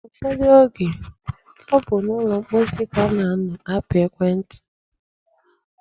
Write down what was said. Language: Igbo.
Ụfọdụ oge, ọ bụ n'ụlọ mposi ka a na-anọ apị ekwentị.